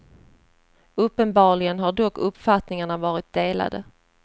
Uppenbarligen har dock uppfattningarna varit delade.